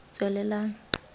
tswelelang